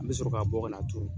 An bɛ sɔrɔ ka bɔ ka turu.